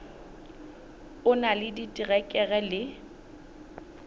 o na le diterekere le